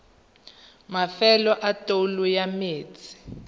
mafelo a taolo ya metsi